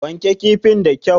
Wanke kifin da kyau!